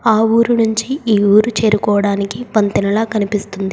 ఆ ఊరు నుంచి ఈ ఊరు చేరుకోవడానికి వంతెనలా కనిపిస్తుంది.